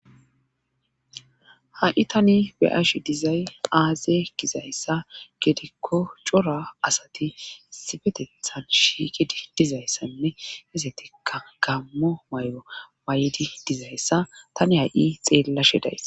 ha7i tani be'ashi dizay aaze gizayssa gedikko cora asati sifetethan shiiqii dizayssanne hesetikka gammo may7o waayedi dizayssa tani ha7i xeellashe days